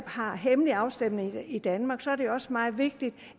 har hemmelige afstemninger i danmark er det også meget vigtigt